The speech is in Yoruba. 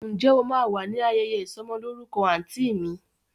Ǹjẹ́ o máa wà ní ayẹyẹ ìsọ'mọlórúkọ àǹtí mi?